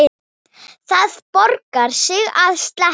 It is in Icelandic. Það borgar sig að sleppa.